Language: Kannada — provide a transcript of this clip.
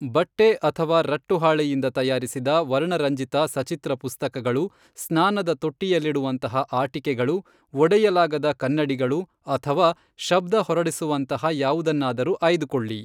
ಬಟ್ಟೆ ಅಥವಾ ರಟ್ಟುಹಾಳೆಯಿಂದ ತಯಾರಿಸಿದ ವರ್ಣರಂಜಿತ ಸಚಿತ್ರ ಪುಸ್ತಕಗಳು, ಸ್ನಾನದ ತೊಟ್ಟಿಯಲ್ಲಿಡುವಂತಹ ಆಟಿಕೆಗಳು, ಒಡೆಯಲಾಗದ ಕನ್ನಡಿಗಳು, ಅಥವಾ ಶಬ್ಧ ಹೊರಡಿಸುವಂತಹ ಯಾವುದನ್ನಾರೂ ಆಯ್ದುಕೊಳ್ಳಿ.